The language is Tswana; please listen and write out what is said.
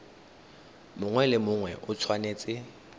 mongwe le mongwe o tshwanetse